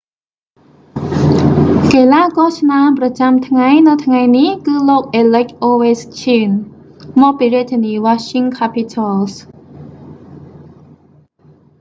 កីឡាករឆ្នើមប្រចាំថ្ងៃនៅថ្ងៃនេះ គឺលោក អាឡិច អូវេឈ្កីន alex ovechkin មកពីរាជធានី washing capitals